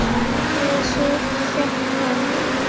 Eða svo hélt hann.